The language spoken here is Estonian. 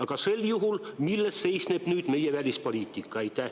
Aga sel juhul, milles seisneb nüüd meie välispoliitika?